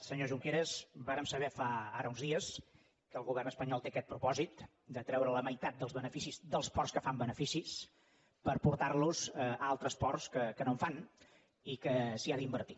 senyor junqueras vàrem saber ara fa uns dies que el govern espanyol té aquest propòsit de treure la meitat dels beneficis dels ports que fan beneficis per portar los a altres ports que no en fan i que s’hi ha d’invertir